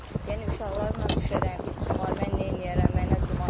Yəni uşaqlarla düşərəm, it cumar, mən neyləyərəm, mənə cumar.